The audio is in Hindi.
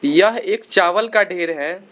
यह एक चावल का ढ़ेर है।